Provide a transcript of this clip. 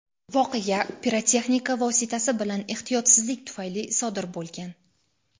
voqea pirotexnika vositasi bilan ehtiyotsizlik tufayli sodir bo‘lgan.